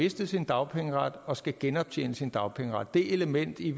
mistet sin dagpengeret og skal genoptjene sin dagpengeret det element i